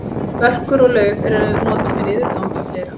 börkur og lauf eru notuð við niðurgangi og fleira